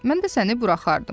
Mən də səni buraxardım."